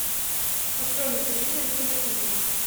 открой на телевизоре киносемья